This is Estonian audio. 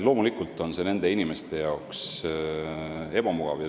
Loomulikult on see nende inimeste jaoks ebamugav.